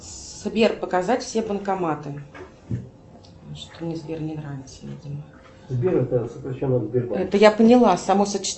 сбер показать все банкоматы